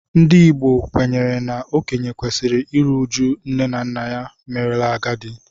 Ndị Igbo kwenyere na okenye kwesịrị iru uju nne na nna merela agadi